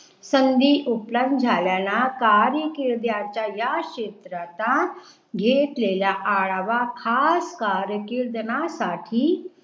संधी उपलब्ध झाल्यानं कार्यकीर्दीच्या या क्षेत्राचा घेतलेल्या अरावह खास कार्यकिर्तनासाठी